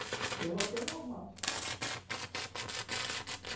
Aí eu voltei ao normal.